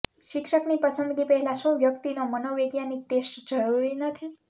શિક્ષકની પસંદગી પહેલા શું વ્યક્તિનો મનોવૈજ્ઞાનિક ટેસ્ટ જરૂરી નથી